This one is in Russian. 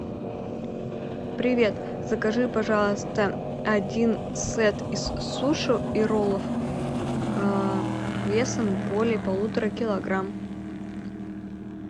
привет закажи пожалуйста один сет из суши и роллов весом более полутора килограмм